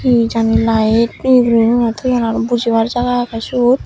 he jani light fitting guri guriy thoyun aro bojibar jaga agey suot.